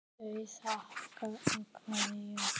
Þau þakka og kveðja.